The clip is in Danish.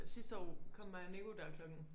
Sidste år kom mig og Niko der klokken